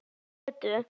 Byggðum götu.